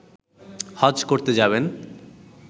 হজ করতে যাবেন